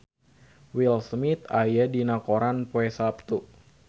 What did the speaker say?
Will Smith aya dina koran poe Saptu